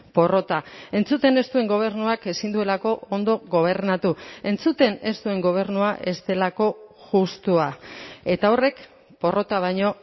porrota entzuten ez duen gobernuak ezin duelako ondo gobernatu entzuten ez duen gobernua ez delako justua eta horrek porrota baino